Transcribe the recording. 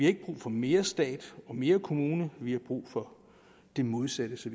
ikke brug for mere stat og mere kommune vi har brug for det modsatte så